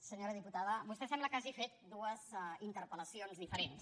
senyora diputada vostè sembla que hagi fet dues interpel·lacions diferents